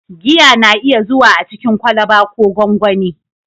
Giya na iya zuwa a cikin kwalba ko gonggoni.